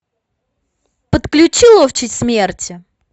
подключи ловчий смерти